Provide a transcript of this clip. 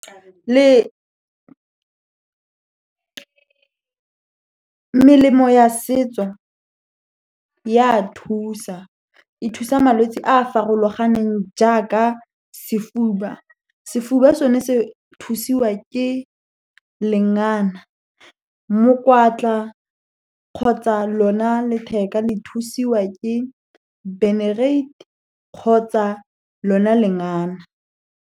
Le melemo ya setso ya a thusa, e thusa malwetsi a a farologaneng jaaka sefuba. Sefuba sone se thusiwa ke lengana, mokwatla kgotsa lona letheka le thusiwa ke benerate, kgotsa lona lengana.